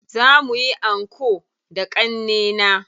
Za muyi anko da ƙannena.